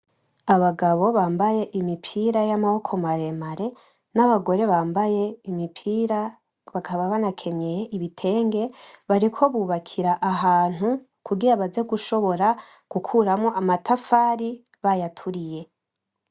Abagabo bambaye imipira yamaboko maremare, n'abagore bambaye imipira bakaba banakenyeye ibitenge bariko bubakira ahantu kugira baze gushobora gukuramwo amatafari bayaturiye.